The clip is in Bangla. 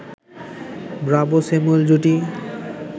ব্রাভো-স্যামুয়েল জুটি